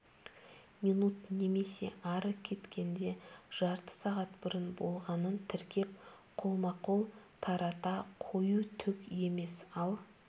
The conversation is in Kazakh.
минут немесе ары кеткенде жарты сағат бұрын болғанын тіркеп қолма-қол тарата қою түк емес ал